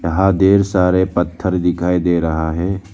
यहां ढेर सारे पत्थर दिखाई दे रहा है।